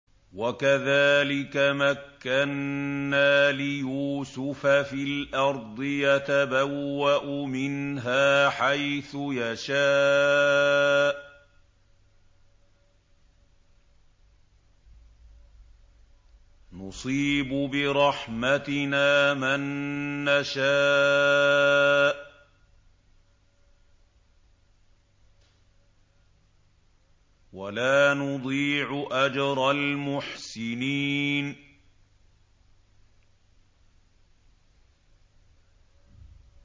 وَكَذَٰلِكَ مَكَّنَّا لِيُوسُفَ فِي الْأَرْضِ يَتَبَوَّأُ مِنْهَا حَيْثُ يَشَاءُ ۚ نُصِيبُ بِرَحْمَتِنَا مَن نَّشَاءُ ۖ وَلَا نُضِيعُ أَجْرَ الْمُحْسِنِينَ